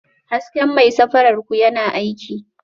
Hasken mai safarar ku yana aiki?